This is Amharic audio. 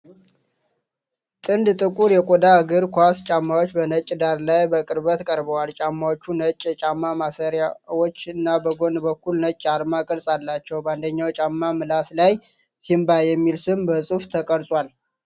ጥንድ ጥቁር የቆዳ እግር ኳስ ጫማዎች በነጭ ዳራ ላይ በቅርበት ቀርበዋል። ጫማዎቹ ነጭ የጫማ ማሰሪያዎች እና በጎን በኩል ነጭ የአርማ ቅርጽ አላቸው። በአንደኛው ጫማ ምላስ ላይ "Simba" የሚል ስም በጽሁፍ ተቀርጿል።